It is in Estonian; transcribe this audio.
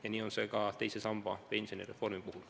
Ja nii on see ka teise samba reformi puhul.